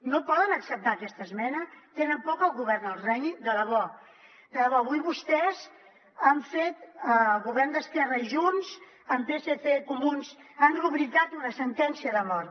no poden acceptar aquesta esmena tenen por que el govern els renyi de debò de debò avui vostès han fet el govern d’esquerra i junts amb psc i comuns han rubricat una sentència de mort